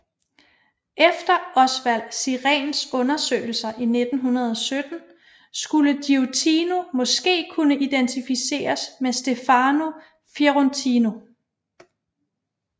Efter Osvald Siréns undersøgelser i 1917 skulle Giottino måske kunne identificeres med Stefano Fiorentino